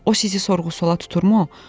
O sizi sorğu-suala tuturmu?